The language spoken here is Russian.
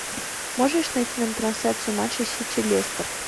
можешь найти нам трансляцию матча сити лестер